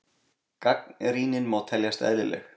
Gagnrýnin má teljast eðlileg.